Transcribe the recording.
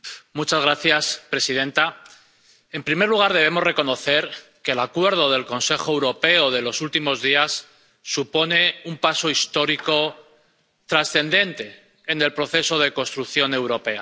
Señora presidenta, en primer lugar, debemos reconocer que el acuerdo del Consejo Europeo de los últimos días supone un paso histórico trascendente en el proceso de construcción europea.